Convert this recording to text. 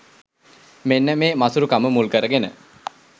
මෙන්න මේ මසුරුකම මුල්කරගෙන